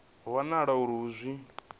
ho wanala uri a zwi